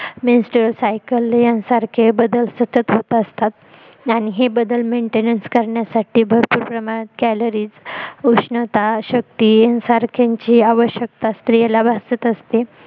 main stain cycle हे बदल हे सतत होत असतात आणि हे बदल maintain करण्यासाठी भरपूर प्रमाणात calories उष्णता अशक्ती यांसारख्यांची आवश्यकता स्त्रियांना भासत असते